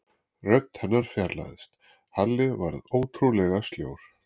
Rödd hennar fjarlægðist, Halli varð ótrúlega sljór.